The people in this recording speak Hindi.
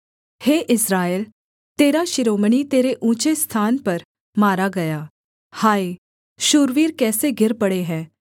हे इस्राएल तेरा शिरोमणि तेरे ऊँचे स्थान पर मारा गया हाय शूरवीर कैसे गिर पड़े हैं